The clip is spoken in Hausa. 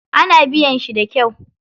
Ana biyan shi da kyau.